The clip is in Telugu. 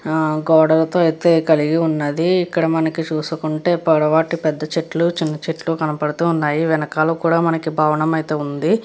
ఆ గోడలతో ఎత్తు కలిగి ఉన్నది. ఇక్కడ మనకి చూసుకుంటే పొడవాటి పెద్ద చెట్లు చిన్న చెట్లు కనపడుతున్నవి వెనకాల కూడా మనకి భవనం ఐతే ఉంది .